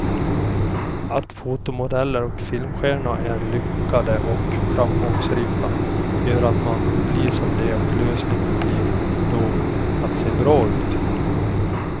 Att fotomodeller och filmstjärnor är lyckade och framgångsrika gör att man vill bli som de och lösningen blir då att se bra ut.